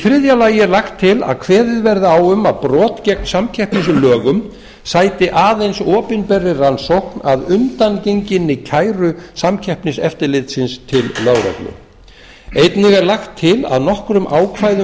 þriðja lagt er til að kveðið verði á um að brot gegn samkeppnislögum sæti aðeins opinberri rannsókn að undangenginni kæru samkeppniseftirlitsins til lögreglu einnig er lagt til að nokkrum ákvæðum